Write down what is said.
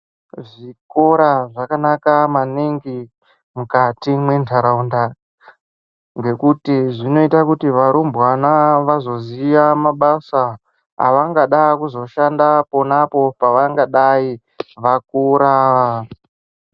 Zvikora zvaka naka maningi mukati mwe ndaraunda ngekuti zvinoita varumbwana vazo ziya mabasa avangada kuzoshanda ponapo pavangadai vakura.